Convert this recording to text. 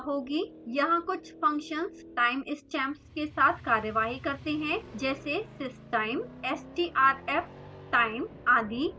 यहाँ कुछ functions time stamps के साथ कार्यवाही करते हैं जैसे systime strftime आदि